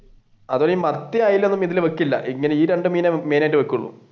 അതുപോലെ ഈ മത്തി അയില ഒന്നും ഇതിൽ വെക്കില്ല ഈ രണ്ടു മീനെ main ആയിട്ട് വെക്കുള്ളു.